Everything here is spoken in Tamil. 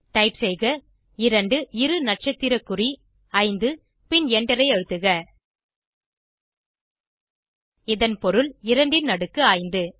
டைப் செய்க 2 இரு நட்சத்திர குறி 5 பின் எண்டரை அழுத்துக இதன் பொருள் 2 ன் அடுக்கு 5